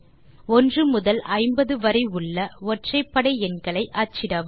1 முதல் 50 வரை உள்ள ஒற்றைப்படை எண்களை அச்சிடவும்